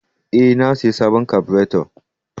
Ee, na sayi sabon kabureto